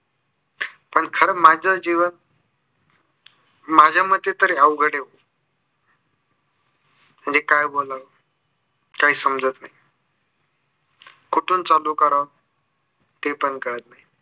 पण खर माझ्या जीवनात माझ्या मते तर अवघड आहे. मी काय बोलावं? काय समाजत नाही. कुठून चालू कराव ते पण कळत नाही.